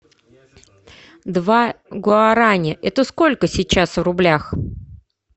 два гуараня это сколько сейчас в рублях